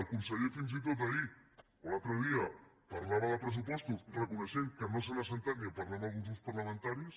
el conseller fins i tot ahir o l’altre dia parlava de pressupostos reconeixent que no s’han assegut ni a parlar amb alguns grups parlamentaris